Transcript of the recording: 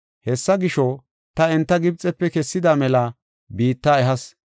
Hessa gisho, ta enta Gibxefe kessada mela biitta ehas.